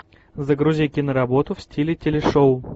загрузи киноработу в стиле телешоу